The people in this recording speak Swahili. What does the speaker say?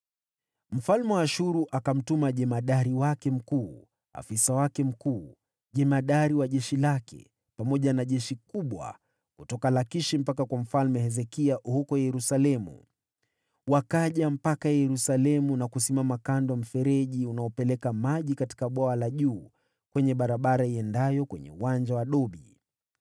Mfalme wa Ashuru akamtuma jemadari wake mkuu, na afisa wake mkuu, na jemadari wa jeshi, pamoja na jeshi kubwa kutoka Lakishi hadi kwa Mfalme Hezekia huko Yerusalemu. Wakaja Yerusalemu na kusimama kwenye mfereji wa Bwawa la Juu, lililojengwa katika barabara iendayo kwenye Uwanja wa Dobi.